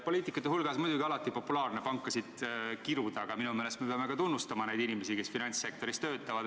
Poliitikute hulgas on muidugi alati populaarne pankasid kiruda, aga minu meelest me peame ka tunnustama neid inimesi, kes finantssektoris töötavad.